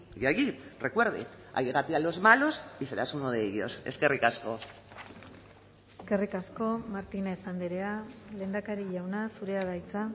y allí recuerde allégate a los malos y serás uno de ellos eskerrik asko eskerrik asko martínez andrea lehendakari jauna zurea da hitza